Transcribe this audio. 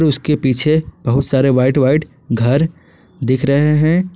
उसके पीछे बहुत सारे व्हाइट व्हाइट घर दिख रहे है।